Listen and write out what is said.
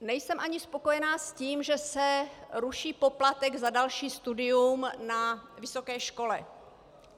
Nejsem ani spokojená s tím, že se ruší poplatek za další studium na vysoké škole.